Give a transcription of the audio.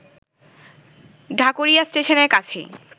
ঢাকুরিয়া স্টেশনের কাছেই